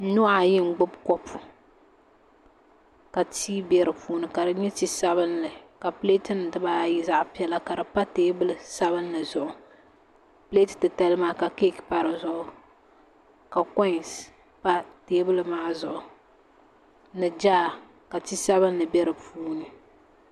Nuhi ayi n gbubi kopu ka tii bɛ di puuni ka di nyɛ ti sabinli ka pileet nim dibaayi zaɣ piɛla ka di pa teebuli sabinli zuɣu pileeti titali maa ka keek pa di zuɣu ka koins pa teebuli maa zuɣu ni jaar ka ti sabinli bɛ do puuni